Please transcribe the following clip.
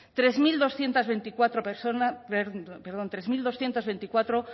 tres mil doscientos veinticuatro